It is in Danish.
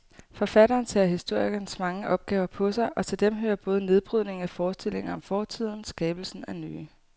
Forfatteren tager historikerens mange opgaver på sig, og til dem hører både nedbrydningen af forestillinger om fortiden skabelsen af nye.